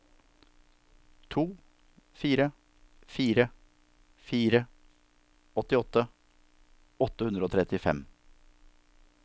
to fire fire fire åttiåtte åtte hundre og trettifem